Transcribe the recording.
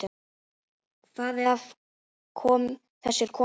Hvað af þessu er komið?